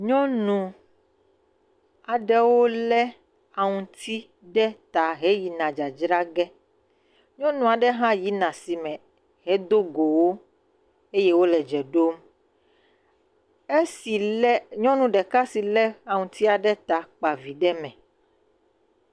Nyɔnu aɖewo le aŋuti ɖe ta he yina dzadzra ge. Nyɔnu aɖe hã yina asime hedo go wo le dze ɖom. Esi le, nyɔnu ɖeka si le aŋutia ɖe ta kpa vi ɖe me.